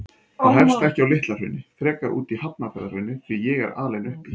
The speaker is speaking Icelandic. Það hefst ekki á Litla-Hrauni, frekar úti í Hafnarfjarðarhrauni, því ég er alinn upp í